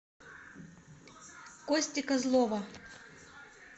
кости козлова